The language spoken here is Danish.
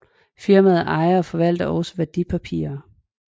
Firmaet ejer og forvalter også værdipapirer